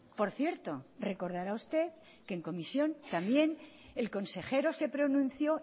por cierto recordará usted que en comisión también el consejero se pronunció